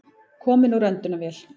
Kominn úr öndunarvél